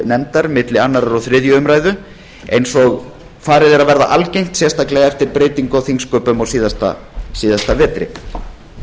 nefndar milli annars og þriðju umræðu eins og farið er að verða algengt sérstaklega eftir breytingu á þingsköpum í fyrravetur